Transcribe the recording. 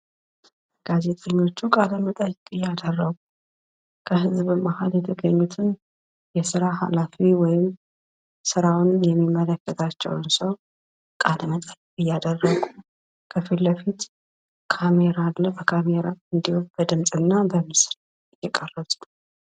ጋዜጠኞቹ ቃለ-መጠይቅ እያደረጉ ከህዝብ መሃል እየጠየቁ የስራ ሀላፊ ወይም ስራውን የሚመለከታቸውን ሰው ቃለ መጠይቅ እያደረጉ ካሜራ አለ። በካሜራ እንዲሁም በድምጽ እና በምስሉ እየቀረጹ ነው።